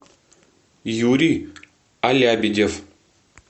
юрий алябидев